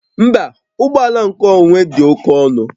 Mba, ụgbọ ala nkeonwe dị oke ọnụ